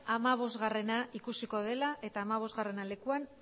hamabostgarrena ikusiko dela eta hamabostgarrena lekuan